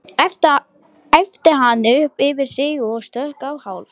æpti hann upp yfir sig og stökk á hálf